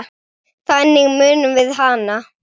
Þannig munum við hana.